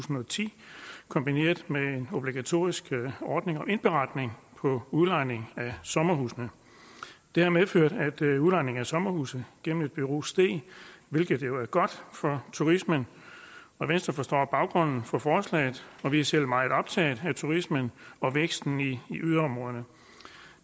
og ti kombineret med en obligatorisk ordning om indberetning på udlejning af sommerhusene det har medført at udlejning af sommerhuse gennem et bureau steg hvilket jo er godt for turismen venstre forstår baggrunden for forslaget og vi er selv meget optaget af turismen og væksten i yderområderne